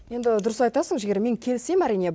енді дұрыс айтасың жігер мен келісем әрине